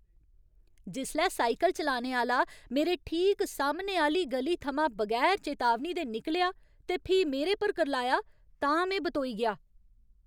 जिसलै साइकल चलाने आह्‌ला मेरे ठीक सामने आह्‌ली इक ग'ली थमां बगैर चेतावनी दे निकलेआ ते फ्ही मेरे पर करलाया तां में बतोई गेआ।